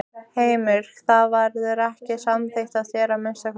Heimir: Það verður ekki samþykkt af þér, að minnsta kosti?